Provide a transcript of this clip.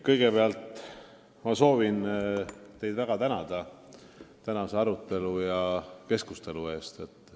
Kõigepealt ma soovin teid väga tänada tänase arutelu ja keskustelu eest!